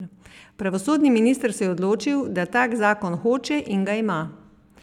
Pravosodni minister se je odločil, da tak zakon hoče, in ga ima.